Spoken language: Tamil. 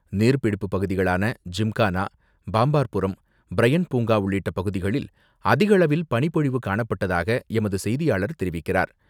நீர்பிடிப்பு பகுதிகளான ஜிம்கானா, பாம்பார் புரம், பிரையண்ட் பூங்கா உள்ளிட்ட பகுதிகளில் அதிகளவில் பனிப்பொழிவு காணப்பட்டதாக எமது செய்தியாளர் தெரிவிக்கிறார்.